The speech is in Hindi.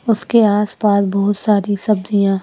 उसके आसपास बहुत सारी सब्जियां--